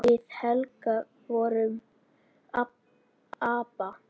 Við Helga vorum ABBA.